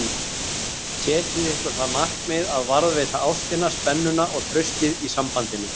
Setjið ykkur það markmið að varðveita ástina, spennuna og traustið í sambandinu